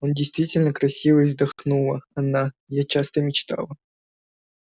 он действительно красивый вздохнула она я часто мечтала